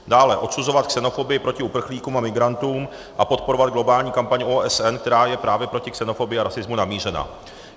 Dále, odsuzovat xenofobii proti uprchlíkům a migrantům a podporovat globální kampaň OSN, která je právě proti xenofobii a rasismu namířena.